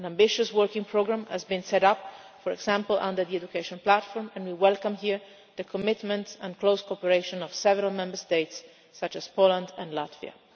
An ambitious working programme has been set up, for example under the education platform, and we welcome here the commitment and close cooperation of several Member States, such as Poland and Latvia.